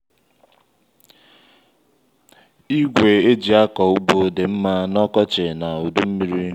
ígwē e eji akọ ugbo dị mmá na ọkọchị na udu mmiri